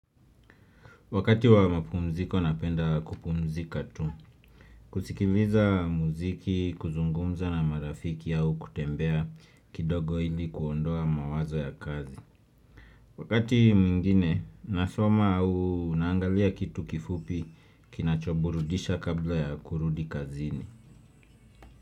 Wakati wa mapumziko napenda kupumzika tu, kusikiliza muziki, kuzungumza na marafiki au kutembea kidogo ili kuondoa mawazo ya kazi. Wakati mwingine, nasoma au naangalia kitu kifupi kinachoburudisha kabla ya kurudi kazini.